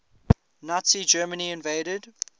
nazi germany invaded